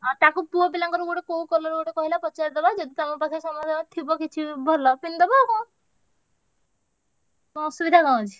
ହଁ ତାକୁ ପୁଅପିଲାଙ୍କର ଗୋଟେ କୋଉ colour ଗୋଟେ କହିଲା ପଚାରି ଦବା ଯଦି ତମ ପାଖରେ ସମସ୍ତଙ୍କ ଥିବ କିଛି ଭଲ ପିନ୍ଧିଦବ କଣ କଣ ଅସୁବିଧା କଣ ଅଛି?